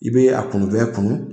I be a kunu fɛn kunu .